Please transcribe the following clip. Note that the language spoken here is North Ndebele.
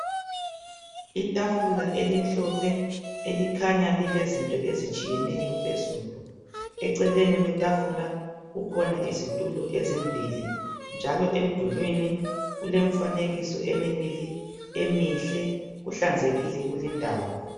Itafula elimhlophe elikhanya lilezinto ezitshiyeneyo phezulu . Eceleni kwetafula kukhona izithulo ezimbili. Njalo emdulwini kule mifanekiso emibili emihle. Kuhlanzekile kuleyindawo.